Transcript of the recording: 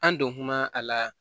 An don kuma a la